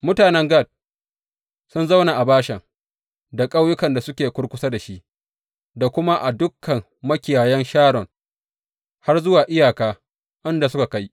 Mutanen Gad sun zauna a Bashan da ƙauyukan da suke kurkusa da shi, da kuma a dukan makiyayan Sharon har zuwa iyaka inda suka kai.